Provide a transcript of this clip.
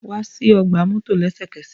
Wa si ọgba mọto lẹsẹkẹsẹ!